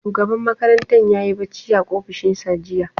Shugaban makarantar ya yi barci a ofishinsa jiya.